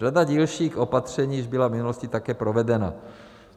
Řada dílčích opatření již byla v minulosti také provedena.